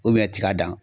tiga dan